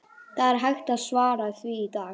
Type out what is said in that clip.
Það er ekki hægt að svara því í dag.